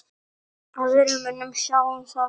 Aðrir munu sjá um það.